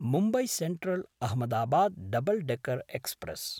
Mumbai सेन्ट्रल्–अहमदाबाद् double decker express